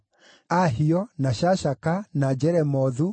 Ahio, na Shashaka, na Jeremothu,